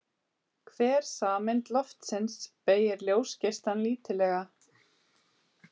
Hver sameind loftsins beygir ljósgeislann lítillega.